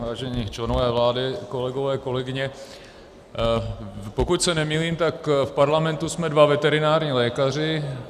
Vážení členové vlády, kolegové, kolegyně, pokud se nemýlím, tak v Parlamentu jsme dva veterinární lékaři.